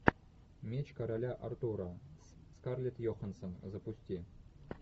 меч короля артура скарлетт йоханссон запусти